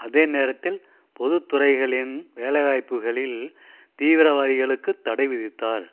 அதே நேரத்தில் பொது துறைகளின் வேலைவாய்ப்புக்களில் தீவிரவாதிகளுக்குத் தடைவிதித்தார்